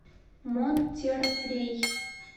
монтеррей